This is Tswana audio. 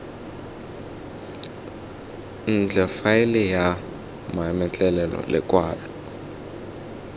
ntle faele ya mametlelelo lekwalo